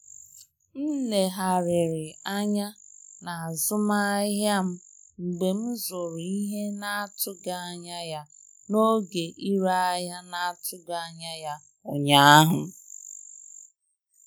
M legharịrị anya n'azụmahịa m mgbe m zụrụ ihe na-atụghị anya ya n'oge ire ahịa na-atụghị anya ya ụnyaahụ